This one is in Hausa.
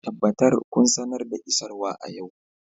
Tabbatar kun sanar da isarwa a yau